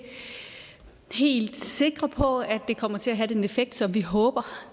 helt sikre på at det kommer til at have den effekt som vi håber